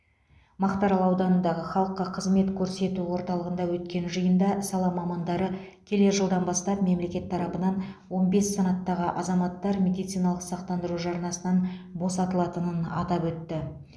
мақтарал ауданындағы халыққа қызмет көрсету орталығында өткен жиында сала мамандары келер жылдан бастап мемлекет тарапынан он бес санаттағы азаматтар медициналық сақтандыру жарнасынан босатылатынын атап өтті